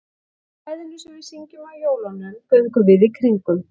Í kvæðinu sem við syngjum á jólunum, Göngum við í kringum.